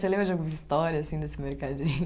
Você lembra de alguma história assim desse mercadinho?